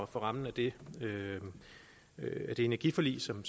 for rammen af det energiforlig som